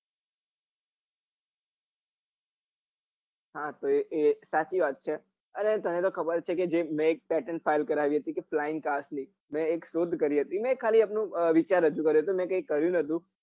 હા તો એ સાચી વાત છે અને તને તો ખબર જ છે મેં એક શોધ કરી હતી કે મેં ખાલી એમનું વિચાર રજુ કર્યો હતો મેં કઈ કર્યું નતું